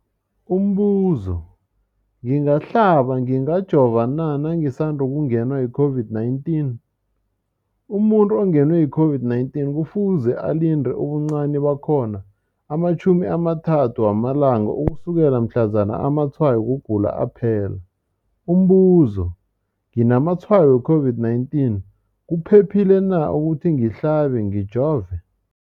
Umbuzo, ngingahlaba, ngingajova na nangisandu kungenwa yi-COVID-19? Umuntu ongenwe yi-COVID-19 kufuze alinde ubuncani bakhona ama-30 wama langa ukusukela mhlazana amatshayo wokugula aphela. Umbuzo, nginamatshayo we-COVID-19, kuphephile na ukuthi ngihlabe, ngijove?